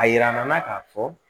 A yira an na k'a fɔ